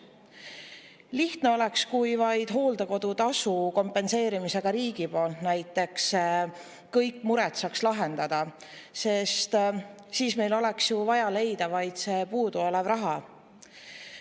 Lihtne oleks, kui vaid hooldekodutasu kompenseerimisega näiteks riigi poolt saaks kõik mured lahendatud, sest siis oleks meil ju vaja leida vaid see puuduolev raha.